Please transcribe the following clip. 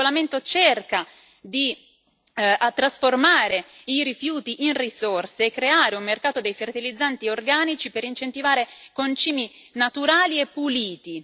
Questo regolamento cerca di trasformare i rifiuti in risorse e creare un mercato dei fertilizzanti organici per incentivare concimi naturali e puliti.